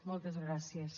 moltes gràcies